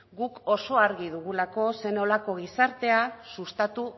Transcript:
guk oso argi dugulako zer nolako gizartea sustatu